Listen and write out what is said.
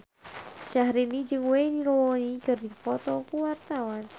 Syahrini jeung Wayne Rooney keur dipoto ku wartawan